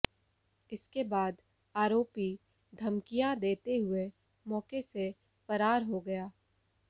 इसके बाद आरोपी धमकियां देते हुए मौके से फरार हो गया